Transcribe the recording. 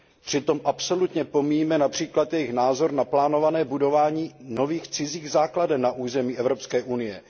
Přitom absolutně pomíjíme například jejich názor na plánované budování nových cizích základen na území Evropské unie.